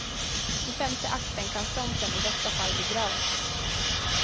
I femte akten kan fronten i bästa fall begravas.